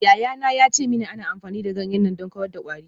Yayana ya ce mini ana amfani da ganyen neem don kawar da kwari.